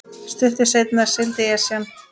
Stuttu seinna sigldi Esjan